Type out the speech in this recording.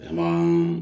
A ma